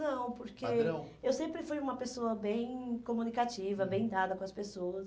Não, porque, padrão, eu sempre fui uma pessoa bem comunicativa, bem dada com as pessoas.